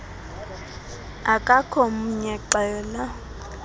akakho mnye xela